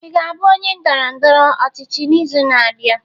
Ị ga-abụ onye ndọrọ ndọrọ ọchịchị n'izu na-abịa?